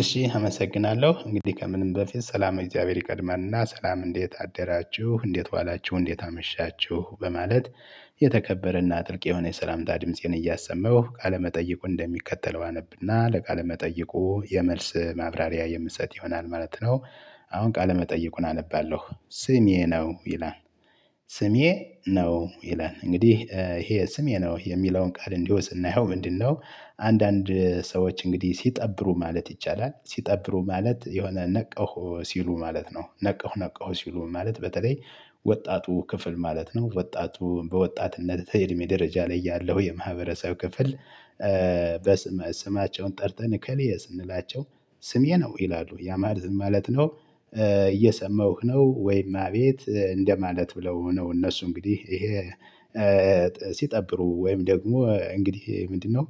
እሺ አመሰግናለሁ እንግዲህ ከምንም በፊት ሰላም እግዚአብሔር ይቀድማልና ሰላም እንዴት አደራችሁ እንዴት ዋላችሁ እንዴት አመሻችሁ በማለት የተከበረና ጥልቅ የሆነ የሰላምታ ድምፄን እያሰመሁ ቃለ መጠይቁን እንደሚከተለው አነብና ለቃለ መጠይቁ የመልስ ማብራሪያ የምሰጥ ይሆናል ማለት ነው። አሁን ቃለ መጠይቁን አነባለሁ ስሜ ነው ይላል። ስሜ ነው ይላል እንግዲህ ይሄ ስሜ ነው የሚለውን ቃል እንዲሁ ስናይው ምንድነው? አንዳንድ ሰዎች እንግዲህ ሲጠብሩ ማለት ይቻላል ሲጠብሩ ማለት የሆነ ነቃሁ ሲሉ ማለት ነው ነቃሁ ነቀሁ ሲሉ ማለት በተለይ ወጣቱ ክፍል ማለት ነው ወጣቱ በወጣትነት እድሜ ደረጃ ላይ ያለው የማህበረሰብ ክፍል። በስም ስማቸውን ጠርተን እከሌ ስንላቸው ስሜ ነው ይላሉ ያማለት ምን ማለት ነው? እየሰማሁህ ነው ወይም አቤት እንደማለት ብለው ነው እነሱ እንግዲህ ይሄ ሲጠብሩ ወይም ደግሞ እንግዲህ ምንድነው?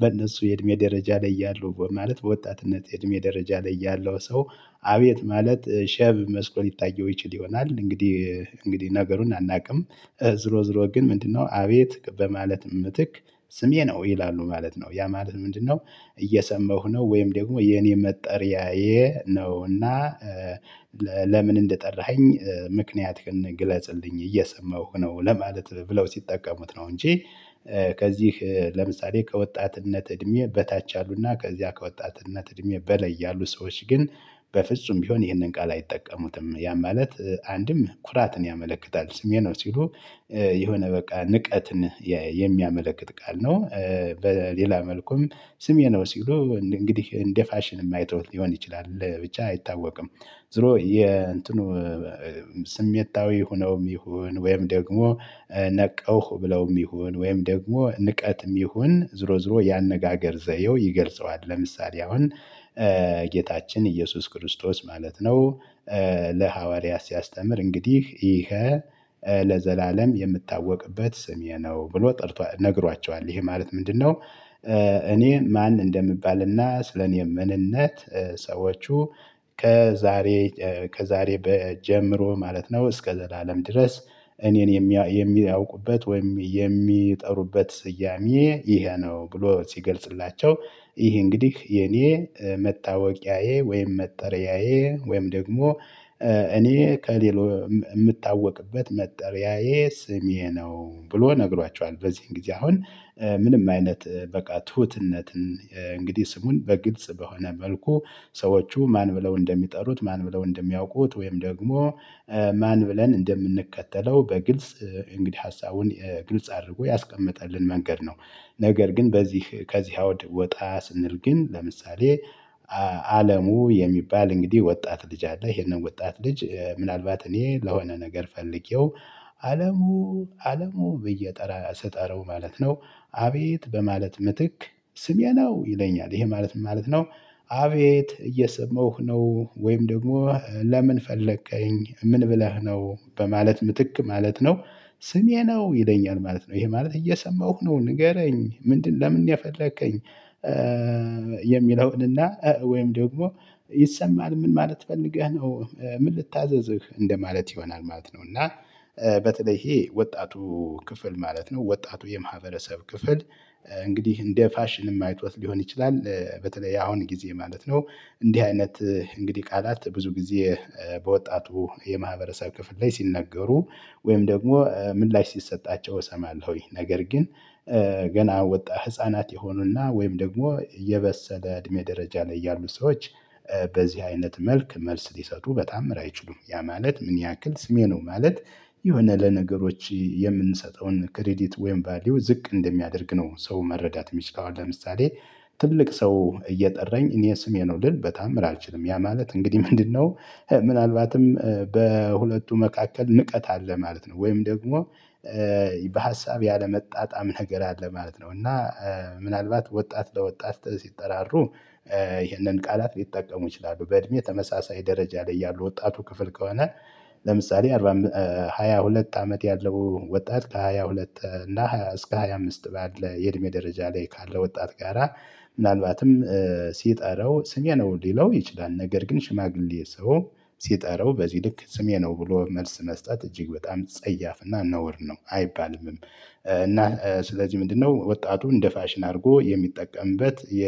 በእነሱ የእድሜ ደረጃ ላይ ያለው ማለት በወጣትነት የእድሜ ደረጃ ላይ ያለው ሰው አቤት ማለት ሼም መስሎት ሊታየው ይችል ይሆናል እንግዲህ እንግዲህ ነገሩን አናውቅም። ዞሮ ዞሮ ግን ምንድነው አቤት በማለት ምትክ ስሜ ነው ይላሉ ማለት ነው ያ ማለት ምንድነው? እየሰማሁ ነው ወይም ደግሞ የኔ መጠሪያዬ ነው እና። ለምን እንደጠራኸኝ ምክንያት ግለጽልኝ እየሰማሁ ነው ለማለት ብለው ሲጠቀሙት ነው እንጂ። ከዚህ ለምሳሌ ከወጣትነት እድሜ በታች አሉና ከዚያ ከወጣትነት እድሜ በላይ ያሉ ሰዎች ግን። በፍጹም ቢሆን ይህንን ቃል አይጠቀሙትም ያ ማለት አንድም ኩራትን ያመለክታል ስሜ ነው ሲሉ የሆነ በቃ ንቀትን የሚያመለክት ቃል ነው። በሌላ መልኩም ስሜ ነው ሲሉ እንግዲህ እንደ ፋሽን አይተዉት ሊሆን ይችላል ብቻ አይታወቅም። ዞሮ የእንትኑ ስሜታዊ ሆነውም ይሁን ወይም ደግሞ ነቃውህ ብለውም ይሁን ወይም ደግሞ ንቀትም ይሁን ዞሮ ዞሮ ያነጋገር ዘየውም ይገልጸዋል። ለምሳሌ አሁን ጌታችን ኢየሱስ ክርስቶስ ማለት ነው። ለሐዋርያት ሲያስተምር እንግዲህ ይኸ ለዘላለም የምታወቅበት ስሜ ነው ብሎ ጠርቷል ነግሯቸዋል ይሄ ማለት ምንድነው? እኔ ማን እንደሚባልና ስለኔ ምንነት ሰዎቹ ከዛሬ ከዛሬ በጀምሮ ማለት ነው እስከ ዘላለም ድረስ። እኔን የሚያውቁበት ወይም የሚጠሩበት ስያሜ ይሄ ነው ብሎ ሲገልጽላቸው ይሄ እንግዲህ የኔ መታወቂያዬ ወይም መጠሪያዬ ወይም ደግሞ እኔ ከሌሎ የምታወቅበት መጠሪያዬ ስሜ ነው ብሎ ነግሯቸዋል። በዚህን ጊዜ አሁን ምንም አይነት በቃ ትሁትነትን እንግዲህ ስሙን በግልጽ በሆነ መልኩ ሰዎቹ ማን ብለው እንደሚጠሩት ማን ብለው እንደሚያውቁት ወይም ደግሞ ማን ብለን እንደምንከተለው በግልጽ እንግዲህ ሀሳቡን ግልጽ አድርጎ ያስቀመጠልን መንገድ ነው። ነገር ግን በዚህ ከዚህ አውድ ወጣ ስንል ግን ለምሳሌ። አለሙ የሚባል እንግዲህ ወጣት ልጅ አለ ይሄንን ወጣት ልጅ ምናልባት እኔ ለሆነ ነገር ፈልጌው አለሙ አለሙ ብዬ ጠራ ስጠረው ማለት ነው። አቤት በማለት ምትክ ስሜ ነው ይለኛል ይሄ ማለት ምን ማለት ነው? አቤት እየሰማሁህ ነው ወይም ደግሞ ለምን ፈለከኝ ምን ብለህ ነው በማለት ምትክ ማለት ነው። ስሜ ነው ይለኛል ማለት ነው ይሄ ማለት እየሰማሁ ነው ንገረኝ ምንድነው ለምን የፈለከኝ? የሚለውንና ወይም ደግሞ ይሰማል ምን ማለት ፈልገህ ነው ምን ልታዘዝህ እንደማለት ይሆናል ማለት ነው። እና በተለይ ይሄ ወጣቱ ክፍል ማለት ነው ወጣቱ የማህበረሰብ ክፍል እንግዲህ እንደ ፋሽን አይቶት ሊሆን ይችላል በተለይ ያሁን ጊዜ ማለት ነው። እንዲህ አይነት እንግዲህ ቃላት ብዙ ጊዜ በወጣቱ የማህበረሰብ ክፍል ላይ ሲነገሩ ወይም ደግሞ ምላሽ ሲሰጣቸው እሰማለሁ ይሄ ነገር ግን ገና ወጣ ህፃናት የሆኑና ወይም ደግሞ የበሰለ እድሜ ደረጃ ላይ ያሉ ሰዎች። በዚህ አይነት መልክ መልስ ሊሰጡ በተአምር አይችሉም ያ ማለት ምን ያክል ስሜ ነው ማለት? የሆነ ለነገሮች የምንሰጠውን ክሬዲት ወይም ቫልዩ ዝቅ እንደሚያደርግ ነው። ሰው መረዳት የሚችለው ለምሳሌ። ትልቅ ሰው እየጠራኝ እኔ ስሜ ነው ልል በተአምር አልችልም ያ ማለት እንግዲህ ምንድነው? ምናልባትም በሁለቱ መካከል ንቀት አለ ማለት ነው። ወይም ደግሞ በሀሳብ ያለመጣጣም ነገር አለ ማለት ነው። እና ምናልባት ወጣት ለወጣት ሲጠራሩ ይህንን ቃላት ሊጠቀሙ ይችላሉ በእድሜ ተመሳሳይ ደረጃ ላይ ያሉ ወጣቱ ክፍል ከሆነ። ለምሳሌ ሃያ ሁለት አመት ያለው ወጣት ከሃያ ሁለት እና እስከ ሃያ አምስት ባለ የእድሜ ደረጃ ላይ ካለው ወጣት ጋራ። ምናልባትም ሲጠራው ስሜ ነው ሊለው ይችላል። ነገር ግን ሽማግሌ ሰው ሲጠራው በዚህ ልክ ስሜ ነው ብሎ መልስ መስጠት እጅግ በጣም ጸያፍና ነውር ነው አይባልምም። እና ስለዚህ ምንድነው ወጣቱ እንደ ፋሽን አድርጎ የሚጠቀምበት የ